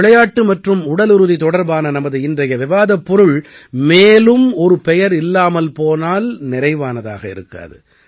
விளையாட்டு மற்றும் உடலுறுதி தொடர்பான நமது இன்றைய விவாதப் பொருள் மேலும் ஒரு பெயர் இல்லாமல் போனால் நிறைவானதாக இருக்காது